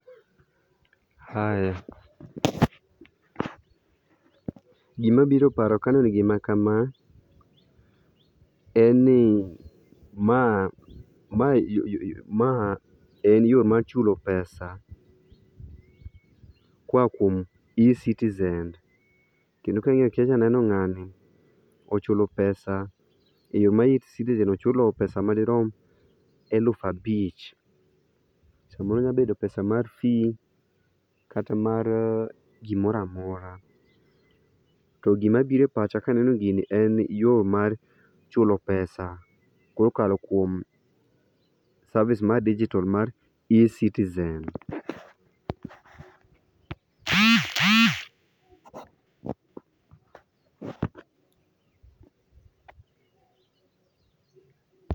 Aya, gima biro eparo kaneno gima kama, en ni ma ma yo yo ma en yo mar chulo pesa koa kuom ecitizen. Kendo kang'iyo kaka aneno ng'ano ochulo pesa, eyo mar ecitizen ochulo pesa madirom elufu abich, samoro nyalo bedo pesa mar fee kata mar gimoro amora. To gima biro epacha kaneno gini en yoo mar chulo pesa kokalo kuom service mar digital mar ecitizen.